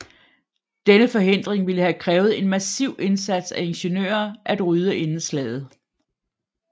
Denne forhindring ville have krævet en massiv indsats af ingeniører at rydde inden slaget